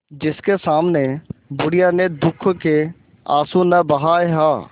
जिसके सामने बुढ़िया ने दुःख के आँसू न बहाये हां